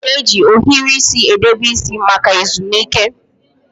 A na-eji ohiri isi edebe isi maka ezumike.